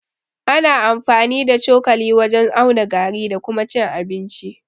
Ana amfani ta cokali wajen auna gari da kuma cin abinci.